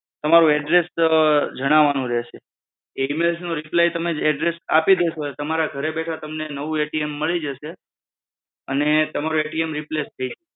તમારું address જણાવવાનું રહેશે. એ email નો reply address આપી દેશો એટલે તમારા ઘરે બેઠા તમને નવું મળી જશે અને તમારું replace થઈ જશે.